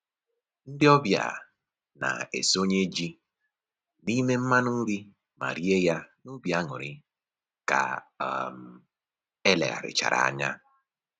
Ndị ọbịa na-esonye ji n'ime mmanụ nri ma rie ya n'obi aṅụrị ka um e legharịchara anya